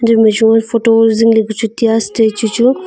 e ma joven photo zing le ku chu tai statue chu